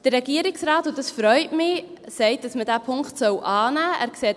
Der Regierungsrat sagt – und das freut mich –, dass man diesen Punkt annehmen soll.